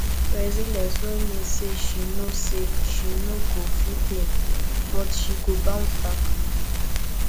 resilience no mean say she no say she no go feel pain but she go bounce back